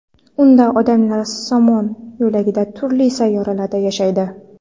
Unda odamlar Somon yo‘lidagi turli sayyoralarda yashaydi.